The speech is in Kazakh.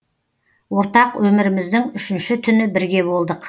ортақ өміріміздің үшінші түні бірге болдық